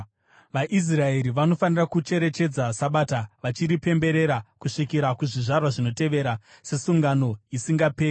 VaIsraeri vanofanira kucherechedza Sabata, vachiripemberera kusvikira kuzvizvarwa zvinotevera sesungano isingaperi.